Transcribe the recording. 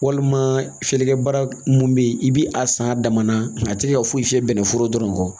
Walima fiyɛlikɛ baara mun bɛ yen i bɛ a san a dama na a tɛ ka foyi fiyɛ bɛnɛ foro dɔrɔn kɔ